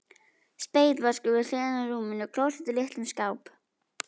Spegill, vaskur við hliðina á rúminu, klósett í litlum skáp.